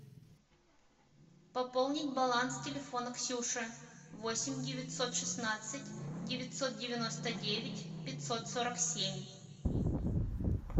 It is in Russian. пополнить баланс телефона ксюши восемь девятьсот шестнадцать девятьсот девяносто девять пятьсот сорок семь